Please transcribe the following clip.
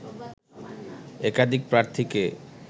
একাধিক প্রার্থীকে